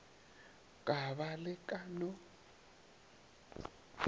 ka ba le ka no